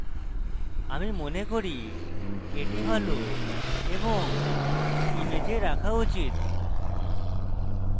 আমি মনে করি এটি ভালো এবং image রাখা উচিত